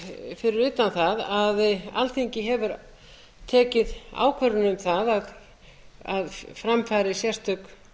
fyrir utan það að alþingi hefur tekið ákvörðun um það að fram fari sérstök